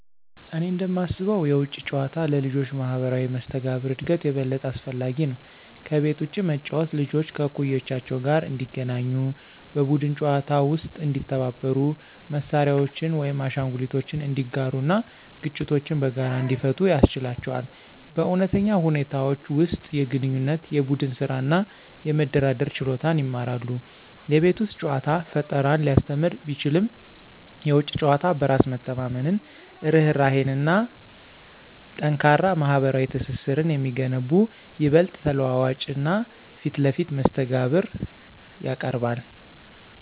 እኔ እንደማስበው የውጪ ጨዋታ ለልጆች ማህበራዊ መስተጋብር እድገት የበለጠ አስፈላጊ ነው። ከቤት ውጭ መጫወት ልጆች ከእኩዮቻቸው ጋር እንዲገናኙ, በቡድን ጨዋታዎች ውስጥ እንዲተባበሩ, መሳሪያዎችን ወይም አሻንጉሊቶችን እንዲጋሩ እና ግጭቶችን በጋራ እንዲፈቱ ያስችላቸዋል. በእውነተኛ ሁኔታዎች ውስጥ የግንኙነት፣ የቡድን ስራ እና የመደራደር ችሎታን ይማራሉ። የቤት ውስጥ ጨዋታ ፈጠራን ሊያስተምር ቢችልም፣ የውጪ ጨዋታ በራስ መተማመንን፣ ርህራሄን እና ጠንካራ ማህበራዊ ትስስርን የሚገነቡ ይበልጥ ተለዋዋጭ እና ፊት ለፊት መስተጋብር ያቀርባል።